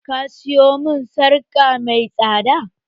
Ka sayo mun sarƙa mai tsada!